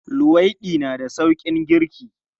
Luwaiɗi na da sauƙin girki.